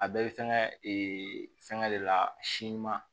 A bɛɛ bɛ fɛnkɛ fɛngɛ de la si ɲuman